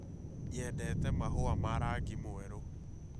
Nyendete mahũa ma rangi mwerũ